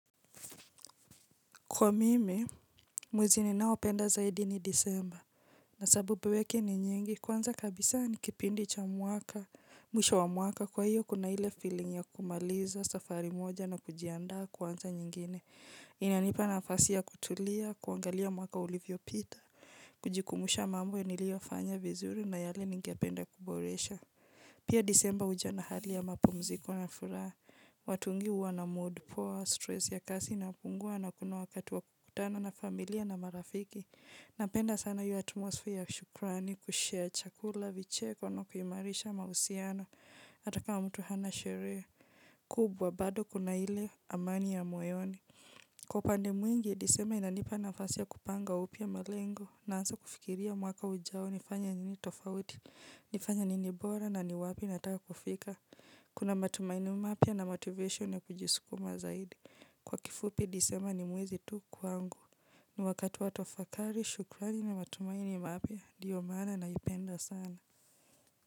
Kwa mimi, mwezi ninaopenda zaidi ni disemba na sababu yake ni nyingi kwanza kabisa ni kipindi cha mwaka, mwisho wa mwaka kwa hiyo kuna ile feeling ya kumaliza safari moja na kujiandaa kuanza nyingine. Inanipa nafasi ya kutulia kuangalia mwaka ulivyopita kujikumbusha mambo niliyofanya vizuri na yale ningependa kuboresha pia disemba huja na hali ya mapumziko na furaha, watu wengi huwa na mood, poa, stress ya kasi inapungua na kuna wakati wa kukutana na familia na marafiki. Napenda sana hiyo atmosphere ya shukrani, kushare chakula, vicheko na kuimarisha, mahusiano, hata kama mtu hana shere, kubwa bado kuna ile amani ya moyoni. Kwa upande mwingi, disema inanipa nafasi ya kupanga upya malengo, naanza kufikiria mwaka ujao nifanye nini tofauti, nifanye nini bora na ni wapi nataka kufika. Kuna matumaini mapya na motivation ya kujisukuma zaidi kwa kifupi, disemba ni mwezi tu kwangu. Ni wakati watuwafakari, shukrani na matumaini mapya, ndio maana naipenda sana.